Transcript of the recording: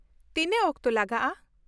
ᱛᱤᱱᱟᱹᱜ ᱚᱠᱛᱚ ᱞᱟᱜᱟᱜᱼᱟ ?